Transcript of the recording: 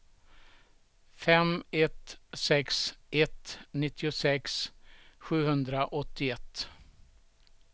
fem ett sex ett nittiosex sjuhundraåttioett